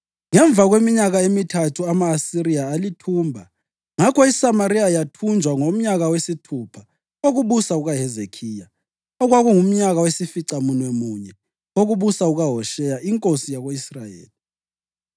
Ngemva kweminyaka emithathu ama-Asiriya alithumba. Ngakho iSamariya yathunjwa ngomnyaka wesithupha wokubusa kukaHezekhiya, okwakungumnyaka wesificamunwemunye wokubusa kukaHosheya inkosi yako-Israyeli.